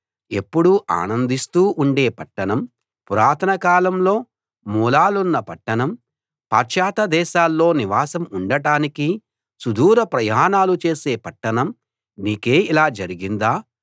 ఎప్పుడూ ఆనందిస్తూ ఉండే పట్టణం పురాతన కాలంలో మూలాలున్న పట్టణం పాశ్చాత్య దేశాల్లో నివాసం ఉండటానికి సుదూర ప్రయాణాలు చేసే పట్టణం నీకే ఇలా జరిగిందా